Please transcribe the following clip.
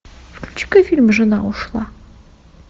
включи ка фильм жена ушла